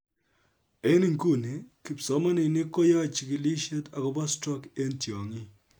En inguni, kipsomaninik koyoe chigilishet akobo stroke en tyongik